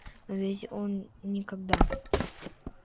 но ведь он никогда